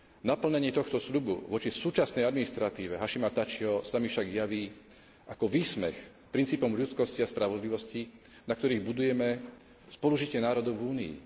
Naplnenie tohto sľubu voči súčasnej administratíve Hašima Tačiho sa mi však javí ako výsmech princípom ľudskosti a spravodlivosti, na ktorých budujeme spolužitie národov v Únii.